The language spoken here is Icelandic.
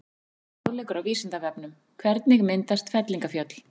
Frekari fróðleikur á Vísindavefnum: Hvernig myndast fellingafjöll?